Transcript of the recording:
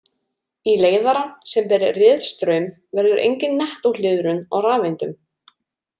Í leiðara, sem ber „riðstraum“, verður engin nettó hliðrun á rafeindum.